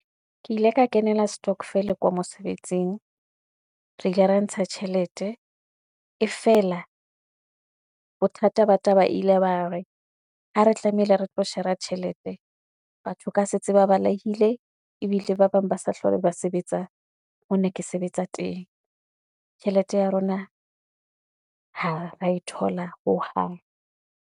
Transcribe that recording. Ke ile ka kenela stockvel ko mosebetsing. Re ile ra ntsha tjhelete e fela, bothata ba taba ile ba re ha re tlameile re tlo shera tjhelete, batho ka se tse ba balehile ebile ba bang ba sa hlole ba sebetsa mone ke sebetsa teng, tjhelete ya rona ha ra e thola hohang.